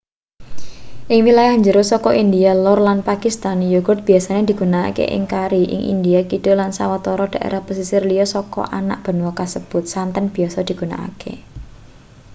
ing wilayah jero saka india lor lan pakistan yogurt biasa digunakake ing kari ing india kidul lan sawetara daerah pesisir liya saka anak benua kasebut santen biasa digunakake